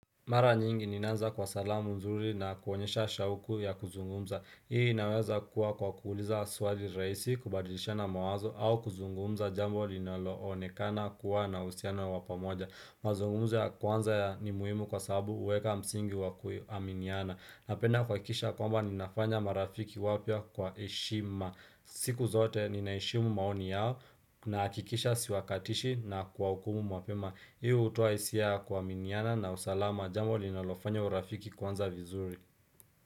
Mara nyingi ninaanza kwa salamu nzuri na kuonyesha shauku ya kuzungumza Hii inaweza kuwa kwa kuuliza swali rahisi kubadilisha na mawazo au kuzungumza jambo linaloonekana kuwa na uhusiano ya wa pamoja mazungumuzo ya kwanza ni muhimu kwa sababu huweka msingi wa kuaminiana Napenda kuhakisha kwamba ninafanya marafiki wapya kwa heshima siku zote ninaheshimu maoni yao nahakikisha siwakatishi na kuwahukumu mapema Hiu hutoa hisia ya kuaminiana na usalama Jambo linalofanya urafiki kuanza vizuri.